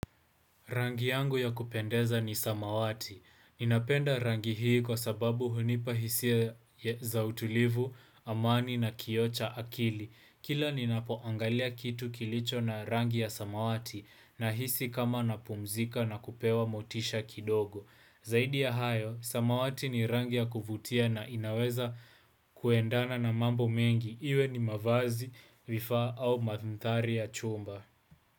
Rangi yangu ya kupendeza ni samawati. Ninapenda rangi hii kwa sababu hunipa hisia za utulivu, amani na kioo cha akili. Kila ninapoangalia kitu kilicho na rangi ya samawati, nahisi kama napumzika na kupewa motisha kidogo. Zaidi ya hayo, samawati ni rangi ya kuvutia na inaweza kuendana na mambo mengi. Iwe ni mavazi vifaa au mandhari ya chumba.